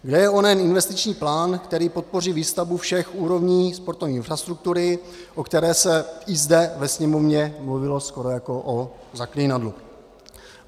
Kde je onen investiční plán, který podpoří výstavbu všech úrovní sportovní infrastruktury, o které se i zde ve Sněmovně mluvilo skoro jako o zaklínadlu?